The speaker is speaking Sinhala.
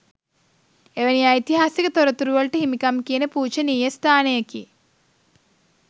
එවැනි ඓතිහාසික තොරතුරුවලට හිමිකම් කියන පූජනීය ස්ථානයකි.